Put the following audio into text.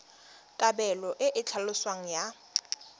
kabelo e e tlhaloswang ya